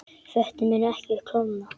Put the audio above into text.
Vötnin munu ekki klofna